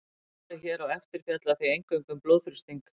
Svarið hér á eftir fjallar því eingöngu um blóðþrýsting.